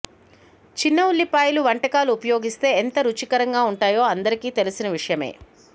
చిన్న ఉల్లిపాయలు వంటకాలు ఉపయోగిస్తే ఎంత రుచికరంగా ఉంటాయో అందరికీ తెలిసి విషయమే